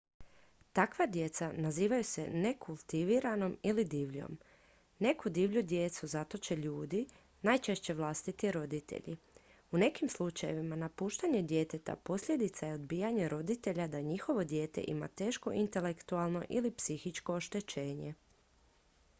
takva djeca nazivaju se nekultiviranom ili divljom. neku divlju djecu zatoče ljudi najčešće vlastiti roditelji. u nekim slučajevima napuštanje djeteta posljedica je odbijanja roditelja da njihovo dijete ima teško intelektualno ili psihičko oštećenje